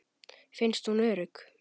Finnst hún örugg.